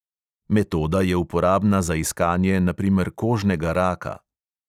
Metoda je uporabna za iskanje na primer kožnega raka.